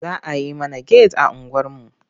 Za a yi mana get a unguwarmu.